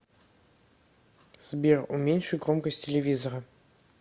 сбер уменьши громкость телевизора